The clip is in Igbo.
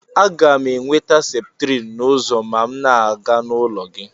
Aga m enweta septrin n'ụzọ ma m na-aga n'ụlọ gị